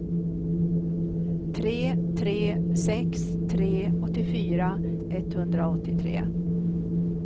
tre tre sex tre åttiofyra etthundraåttiotre